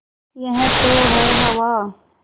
यह तो है हवा